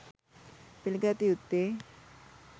පිළිගත යුත්තේ